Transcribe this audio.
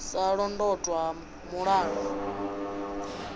u sa londotwa ha mulala